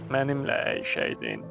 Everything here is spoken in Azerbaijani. Mənimlə əyləşəydin.